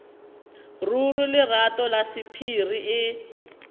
ruri lerato la sephiri e